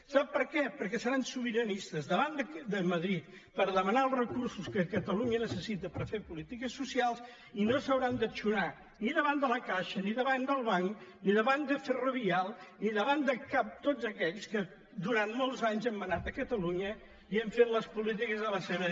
sap per què perquè seran sobiranistes davant de madrid per demanar els recursos que cata·lunya necessita per fer polítiques socials i no s’hauran d’eixonar ni davant de la caixa ni davant del banc ni davant de ferrovial ni davant de cap de tots aquells que durant molts anys han manat a catalunya i han fet les polítiques a la seva